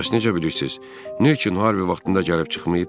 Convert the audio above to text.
Bəs necə bilirsiz, niyəçün Harvi vaxtında gəlib çıxmayıb?